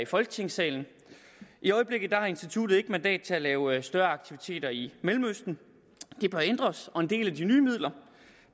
folketingssalen i øjeblikket har instituttet ikke mandat til at lave større aktiviteter i mellemøsten det bør ændres og en del af de nye midler